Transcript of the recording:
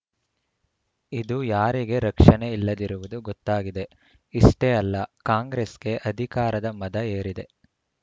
ಇದು ಯಾರಿಗೆ ರಕ್ಷಣೆ ಇಲ್ಲದಿರುವುದು ಗೊತ್ತಾಗಿದೆ ಇಷ್ಟೇ ಅಲ್ಲ ಕಾಂಗ್ರೆಸ್‌ಗೆ ಅಧಿಕಾರದ ಮದ ಏರಿದೆ